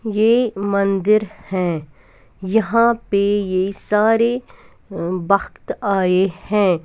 ये मंदिर है यहां पे ये सारे भक्त आए हैं.